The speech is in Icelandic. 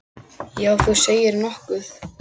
Já, þú segir nokkuð.